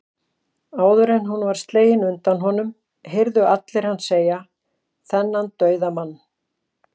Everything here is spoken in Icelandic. Áður en hún var slegin undan honum, heyrðu allir hann segja, þennan dauðamann